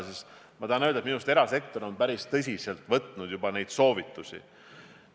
Seega tahan öelda, et minu arust erasektor on päris tõsiselt võtnud neid soovitusi.